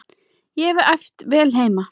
Ég hef æft vel heima.